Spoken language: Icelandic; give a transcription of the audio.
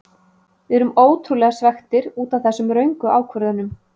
Við erum ótrúlega svekktir útaf þessum röngu ákvörðunum.